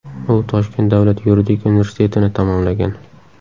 U Toshkent davlat yuridik universitetini tamomlagan.